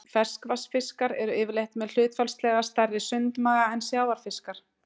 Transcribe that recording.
ferskvatnsfiskar eru yfirleitt með hlutfallslega stærri sundmaga en sjávarfiskar